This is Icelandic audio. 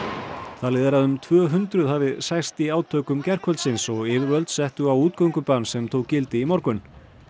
talið er að um tvö hundruð hafi særst í átökum gærkvöldsins og yfirvöld settu á útgöngubann sem tók gildi í morgun